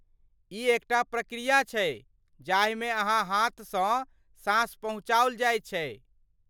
ई एकटा प्रकिया छै जाहिमे अहाँ हाथसँ साँस पहुँचाओल जाइत छै।